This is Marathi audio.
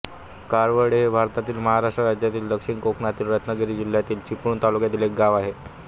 काळवंडे हे भारतातील महाराष्ट्र राज्यातील दक्षिण कोकणातील रत्नागिरी जिल्ह्यातील चिपळूण तालुक्यातील एक गाव आहे